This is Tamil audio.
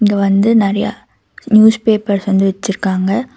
இங்க வந்து நெறைய நியூஸ் பேப்பர்ஸ் வந்து வெச்சிருக்காங்க.